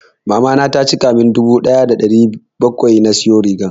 Mamana ta cika mun dubu ɗaya da ɗari bakwai na siyo rigar.